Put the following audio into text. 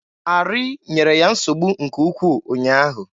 Arị nyere ya nsogbu nke ukwu ụnyaahụ.